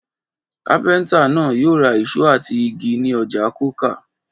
Kápẹ́ńtà náà yóò ra ìṣó àti igi ní ọjà Coker.